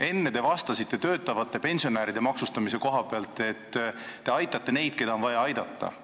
Enne te vastasite küsimusele töötavate pensionäride maksustamise kohta, et te aitate neid, keda on vaja aidata.